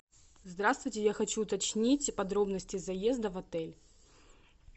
здравствуйте я хочу уточнить подробности заезда в отель